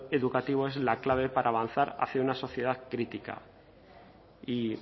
educativo es la clave para avanzar hacia una sociedad crítica y